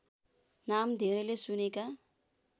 नाम धेरैले सुनेका